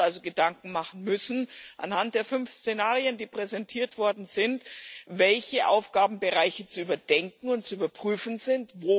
Wir werden uns also Gedanken machen müssen anhand der fünf Szenarien, die präsentiert worden sind welche Aufgabenbereiche zu überdenken und zu überprüfen sind.